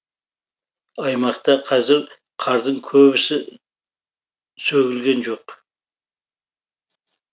аймақта қазір қардың көбісі сөгілген жоқ